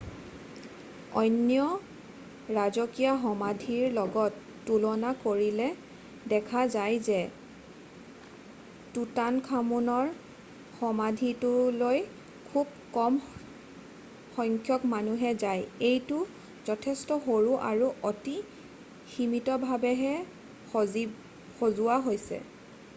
অন্য ৰাজকীয় সমাধিৰ লগত তুলনা কৰিলেে দেখা যায় যে টুটানখামুনৰ সমাধিটোলৈ খুব কম সংখ্যক মানুহহে যায় এইটো যথেষ্ট সৰু আৰু অতি সীমিতভাৱেহে সজোৱা হৈছে